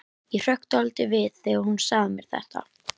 Ég hrökk dálítið við þegar hún sagði mér þetta.